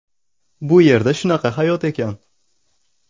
Bu yerda shunaqa hayot ekan.